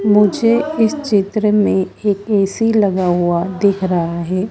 मुझे इस चित्र में एक ए_सी लगा हुआ दिख रहा है।